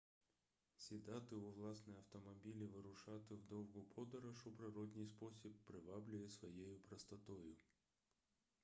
сідати у власний автомобіль і вирушати в довгу подорож у природний спосіб приваблює своєю простотою